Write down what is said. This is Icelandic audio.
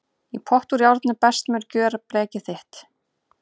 Í pott úr járni best mun gjöra blekið þér.